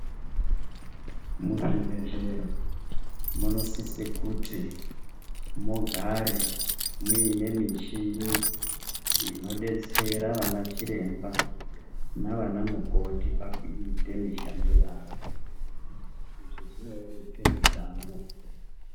Muzvibhedhlera, munosise kuti mugare muyinemishini inodetsera vanachiremba, navanamukoti pakuyite mishando yavo. Izvi zvinorerutse mishando.